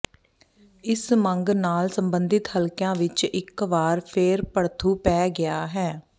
ਇਸ ਮੰਗ ਨਾਲ ਸਬੰਧਿਤ ਹਲਕਿਆਂ ਵਿੱਚ ਇੱਕ ਵਾਰ ਫੇਰ ਭੜਥੂ ਪੈ ਗਿਆ ਹੈ